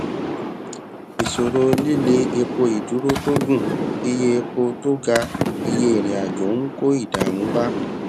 ìṣòro líle epo ìdúró tó gùn iye epo tó ga iye ìrìnàjò ń kó ìdààmú bá